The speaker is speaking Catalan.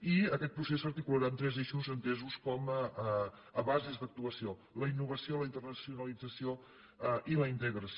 i aquest procés s’articularà en tres eixos entesos com a bases d’actuació la innovació la internacionalització i la integració